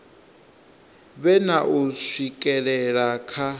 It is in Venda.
vhe na u swikelela kha